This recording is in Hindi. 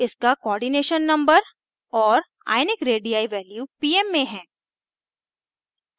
इसका coordination number cn और * ionic radii value pm में हैं